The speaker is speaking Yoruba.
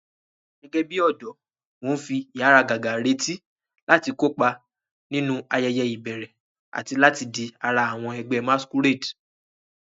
Gẹ́gẹ́ bí ọ̀dọ́, mo ń fi ìháragàgà retí láti kópa nínú ayẹyẹ ìbẹ̀rẹ̀ àti láti di ara àwọn ẹgbẹ́ masquerade.